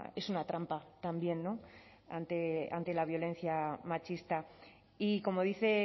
es una trampa también no ante la violencia machista y como dice